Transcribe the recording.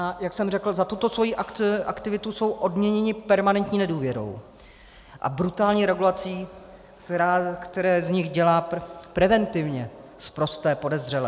A jak jsem řekl, za tuto svoji aktivitu jsou odměněni permanentní nedůvěrou a brutální regulací, která z nich dělá preventivně sprosté podezřelé.